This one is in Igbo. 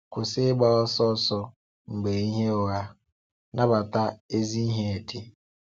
Kwụsị ịgba ọsọ̀sò mgbe ihe ụgha, nabata ezi ihe dị.